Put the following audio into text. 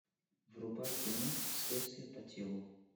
врубай кино следствие по телу